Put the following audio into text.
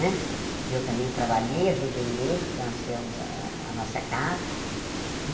Né eu também trabalhei, ajudei ele para nós termos a a nossa casa.